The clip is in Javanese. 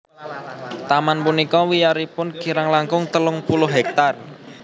Taman punika wiyaripun kirang langkung telung puluh hektar